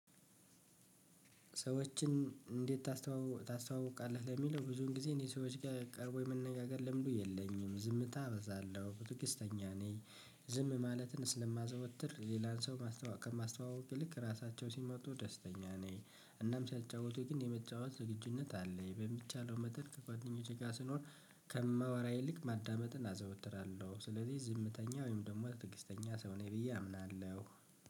ሰዎችን እንዴት ታስተዋውቃለህ ለሚለው ብዙን ጊዜ እኔ ሰዎች ጋር ቀርቦ የመነጋገር ልምዱ የለኝም ዝምታ እበዛለሁ ትዕግስተኛ ነኝ። ዝም ማለትን ስለማዘወትር ሌላን ሰው ማስተዋወቅ ከማስተዋወቅ ይልቅ ራሳቸው ሲመጡ ደስተኛ ነኝ እናም ሲያጫውቱ ግን የመጫወት ዝግጁነት አለኝ በሚቻለው መጠን ከጓደኞቼ ጋር ስኖር ከማወራ ይልቅ ማዳመጥን አዘወትራለሁ ስለዚህ ዝምተኛ ወይም ደግሞ ትዕግስተኛ ሰው ነኝ ብዬ አምናለሁ።